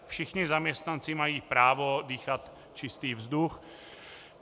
Všichni zaměstnanci mají právo dýchat čistý vzduch.